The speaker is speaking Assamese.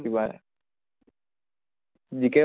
কিবা GK ৰ